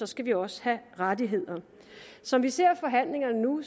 skal vi også have rettigheder som vi ser forhandlingerne nu